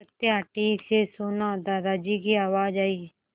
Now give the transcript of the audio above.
सत्या ठीक से सोना दादाजी की आवाज़ आई